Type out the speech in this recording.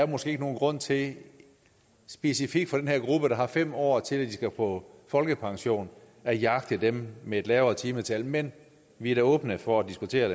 måske ikke nogen grund til specifikt for den her gruppe der har fem år til at de skal på folkepension at jagte dem med et lavere timetal men vi er da åbne for at diskutere